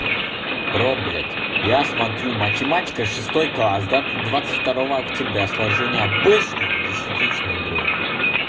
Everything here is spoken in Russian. проблять я смотрю математика шестой класс да двадцать второе октября сложение обычной и десятичной дроби